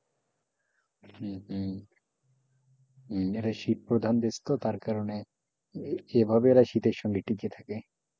হম হম হম এরা শীত প্রধান দেশ তো তার কারণে এভাবে ওরা শীতের সময় টিকে থাকে।